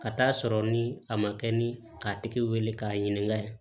Ka taa'a sɔrɔ ni a ma kɛ ni k'a tigi wele k'a ɲininka